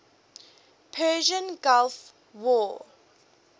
persian gulf war